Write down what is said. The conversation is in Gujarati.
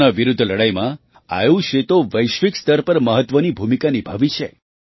કોરોના વિરુદ્ધ લડાઈમાં આયુષે તો વૈશ્વિક સ્તર પર મહત્ત્વની ભૂમિકા નિભાવી છે